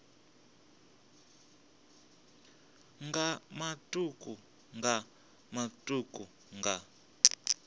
nga matuku nga matuku nga